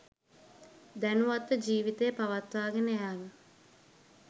දැනුවත්ව ජීවිතය පවත්වා ගෙන යාම